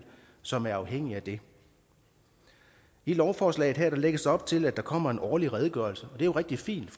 som er afhængige af det i lovforslaget her lægges der op til at der kommer en årlig redegørelse og det er rigtig fint